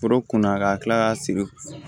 Foro kunna ka tila ka sigi